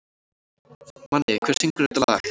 Manni, hver syngur þetta lag?